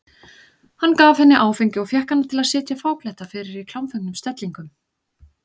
Hann gaf henni áfengi og fékk hana til að sitja fáklædda fyrir í klámfengnum stellingum.